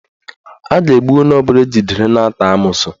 A ga-egbu onye ọbụla ejidere na-ata amoosu